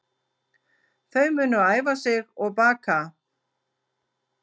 Þau munu æfa sig og baka